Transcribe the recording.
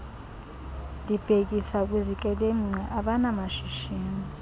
ndibhekisa kwizikrelemnqa abanamashishini